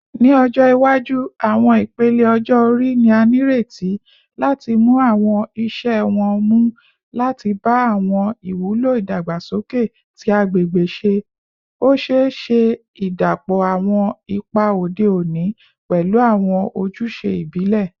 Ni ọjọ iwaju, awọn ipele ọjọ-ori ni a nireti lati mu awọn iṣẹ wọn mu lati ba awọn iwulo idagbasoke ti agbegbe ṣe, o ṣee ṣe idapọ awọn ipa ode oni pẹlu awọn ojuse ibile.